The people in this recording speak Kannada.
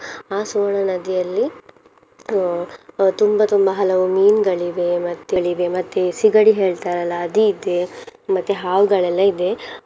ಆ ಸುವರ್ಣ ನದಿಯಲ್ಲಿ ಹ್ಮ್ ಅಹ್ ತುಂಬ ತುಂಬ ಹಲವು ಮೀನುಗಳಿವೆ ಗಳಿವೆ ಮತ್ತೆ ಸಿಗಡಿ ಹೇಳ್ತಾರಲ್ಲ ಅದ್ ಇದೆ ಮತ್ತೆ ಹಾವುಗಲ್ಲೆಲ್ಲ ಇದೆ.